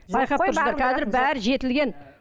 байқап тұрсыздар қазір бәрі жетілген